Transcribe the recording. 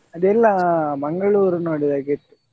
ಅದೆಲ್ಲ Mangalore ನೋಡಿದಾಗೆ ಇತ್ತು.